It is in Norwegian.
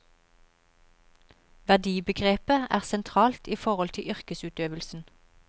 Verdibegrepet er sentralt i forhold til yrkesutøvelsen.